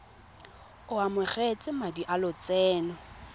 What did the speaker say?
o amogetse madi a lotseno